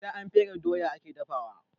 Sai an fere doya ake dafawa